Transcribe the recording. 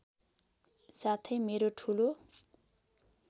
साथै मेरो ठुलो